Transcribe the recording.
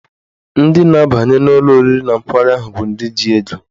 Ndị na-abanye n'ụlọ oriri na nkwari ahụ bụ ndị ji ego.